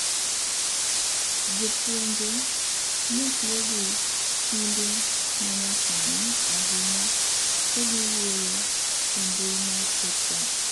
Jopuonje netiyo gi simbe ma nya sani ahinya ka giwuoyo e mbui mar WhatsApp